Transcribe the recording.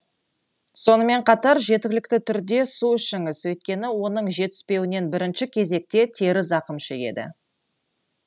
сонымен қатар жеткілікті түрде су ішіңіз өйткені оның жетіспеуінен бірінші кезекте тері зақым шегеді